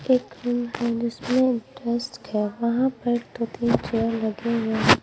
एक रूम है जिसमें डेस्क है वहां पर दो-तीन चेयर लगे हुए हैं।